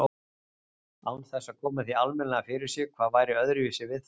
Án þess að koma því almennilega fyrir sig hvað væri öðruvísi við þær.